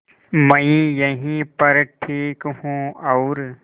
मैं यहीं पर ठीक हूँ और